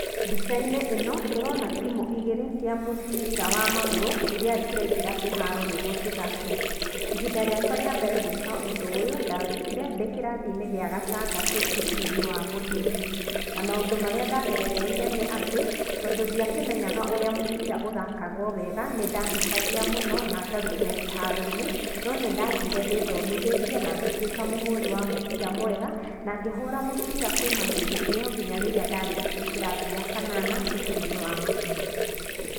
Mbicainĩ ĩno tũrona timu igĩrĩ cia mũbira wa magũrũ irĩa cirengĩra kĩharo nĩguo cithake, ihinda rĩakwa rĩa mbere gwĩka ũndũ ũyũ ndagĩkire ndĩkĩrathine kĩa gatandatũ thukuruinĩ wa mũthingi na maũndũ marĩa ndagerereire nĩ atĩ tondũ ndĩakĩmenyaga ũrĩa mũbira ũthakagwo weega nĩndahĩtagia mũno na ngarũtwo kĩharoinĩ no nĩndathire ndĩthomithetie na ngĩtuĩka mũhuri wa mũbira mwega nangĩhũra mũbira kuuma hĩndĩ ĩyo nginya rĩrĩa ndarĩkirie kĩrathii gĩa kanana thukuruinĩ ya mũthingi.